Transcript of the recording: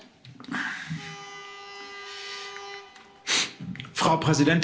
Frau Präsidentin, verehrte Abgeordnete, lieber Herr Kommissar!